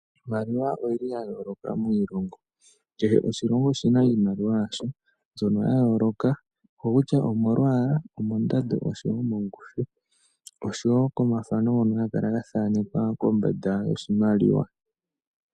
Iimaliwa oyili ya yoloka miilongo, keshe oshilongo oshina iimaliwa yasho mbyono ya yoloka okokutya omolwala, omondando noshowo kongushu , noshowo komathano ngoka haga kala ga thanekwa kombanda yoshimaliwa.